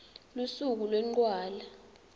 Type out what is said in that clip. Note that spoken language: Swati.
lusuku lwencwala